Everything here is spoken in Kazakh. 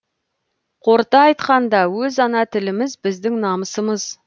қорыта айтқанда өз ана тіліміз біздің намысымыз